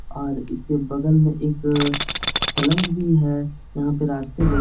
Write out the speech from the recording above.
और इसके बगल में एक पलंग भी है यहाँ पे रास्ते ब --